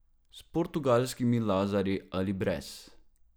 S portugalskimi lazarji ali brez.